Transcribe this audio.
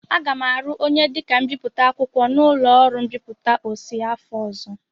Aga m arụ onye dịka mbipụta akwụkwọ n'ụlọ ọrụ mbipụta Ossy afọ ọzọ.